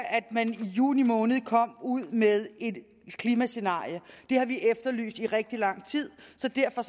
at man i juni måned kom ud med et klimascenarie har vi efterlyst i rigtig lang tid så derfor